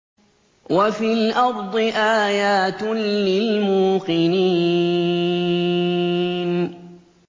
وَفِي الْأَرْضِ آيَاتٌ لِّلْمُوقِنِينَ